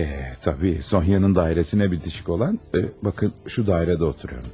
E, tabii, Sonya'nın dairəsinə bitişik olan, bakın, şu dairədə oturuyorum.